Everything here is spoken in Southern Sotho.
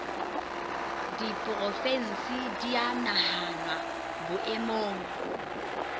diporofensi di a nahanwa boemong